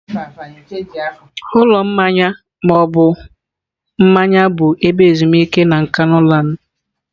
Ụlọ mmanya ma ọ bụ mmanya bụ ebe ezumike na Nkanuland.